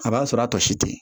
A b'a sɔrɔ a tɔ si te ten